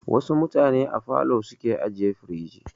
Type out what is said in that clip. Wasu mutane a falo su ke ajiye firij.